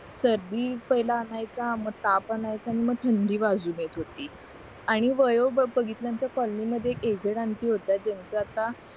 सर्दी पहिला आणायचा मग ताप आणायचा आन मग थंडी वाजून येत होती आणि वयो बघितल्याचं कॉलनी मध्ये एक एजेड ऑंटी होत्या ज्यांचं आता